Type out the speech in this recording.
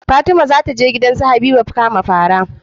Fatima zataje gidan su habiba kama fara